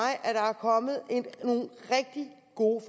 kommet nogle rigtig gode